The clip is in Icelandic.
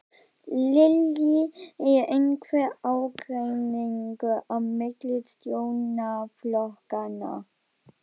Lillý: Er einhver ágreiningur á milli stjórnarflokkanna?